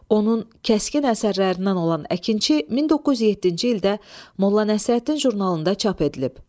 Onun kəskin əsərlərindən olan əkinçi 1907-ci ildə Molla Nəsrəddin jurnalında çap edilib.